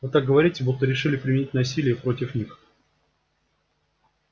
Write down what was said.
вы так говорите будто решили применить насилие против них